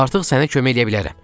Artıq sənə kömək eləyə bilərəm.